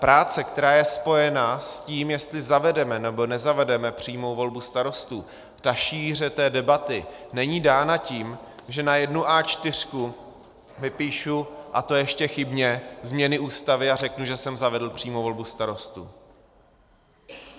Práce, která je spojena s tím, jestli zavedeme, nebo nezavedeme přímou volbu starostů, ta šíře debaty není dána tím, že na jednu A4 vypíšu, a to ještě chybně, změny Ústavy a řeknu, že jsem zavedl přímou volbu starostů.